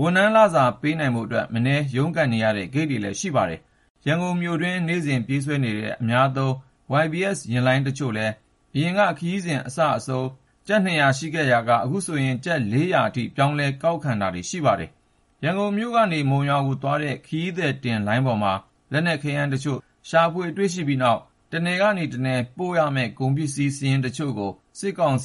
ဝန်ထမ်းလစာ ပေးနိုင်ဖို့အတွက် မနည်း ရုန်းကန်နေရတဲ့ ဂိတ်တွေလည်း ရှိပါတယ်။ ရန်ကုန်မြို့တွင်းမှာ နေ့စဉ်ပြေးဆွဲနေတဲ့ အများသုံး YBS ယာဉ်လိုင်းတချို့လည်း အရင်က ခရီးစဉ်အစအဆုံးကို ကျပ် ၂၀၀ ယူရာကနေ အခု ကျပ် ၄၀၀ အထိ ပြောင်းလဲ ကောက်ခံတာတွေ ရှိနေပါတယ်။ ရန်ကုန်ကနေ မုံရွာသွားတဲ့ ခရီးသည်ယာဉ်လိုင်းပေါ်မှာ လက်နက် ခဲယမ်းတချို့ ရှာဖွေတွေ့ရှိပြီးတဲ့နောက် တနယ်ကနေ တနယ်ကို ပို့ခွင့် မရှိတဲ့ တချို့ကုန်စည်စာရင်းကို စစ်ကောင်စီ